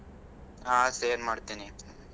ಹಾ share ಮಾಡ್ತಿನೀ.